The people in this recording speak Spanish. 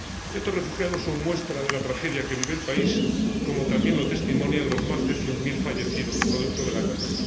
Estos refugiados son muestra de la tragedia que vive el país, como también lo testimonian los más de cien mil fallecidos producto de la guerra.